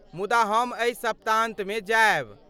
मुदा हम एहि सप्ताहान्तमे जायब।